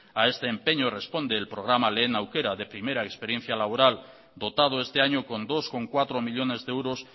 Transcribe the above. a este empeño responde el programa lehen aukera de primera experiencia laboral dotado este año con dos coma cuatro millónes de euros